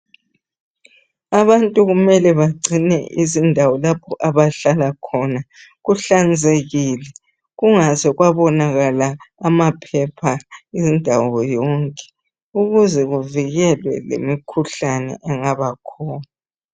Abantu kumele bagcine izindawo lapho abahlala khona kuhlanzekile kungaze kwabonakala amaphepha indawo yonke ukuze kuvikele lemikhuhlane engaba khona